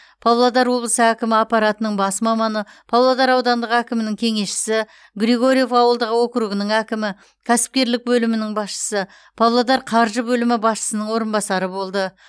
павлодар облысы әкімі аппаратының бас маманы павлодар аудандық әкімінің кеңесшісі григорьев ауылдық округінің әкімі кәсіпкерлік бөлімінің басшысы павлодар қаржы бөлімі басшысының орынбасары болды